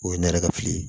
O ye ne yɛrɛ ka fili ye